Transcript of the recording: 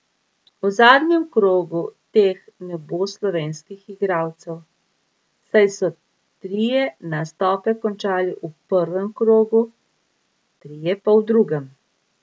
V zadnjem krogu teh ne bo slovenskih igralcev, saj so trije nastope končali v prvem krogu, trije pa v drugem.